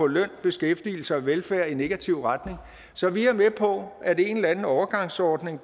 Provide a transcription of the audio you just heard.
løn beskæftigelse og velfærd i en negativ retning så vi er med på at en eller anden overgangsordning